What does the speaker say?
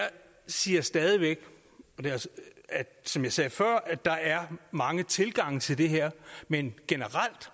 siger stadig væk som jeg sagde før at der er mange tilgange til det her men generelt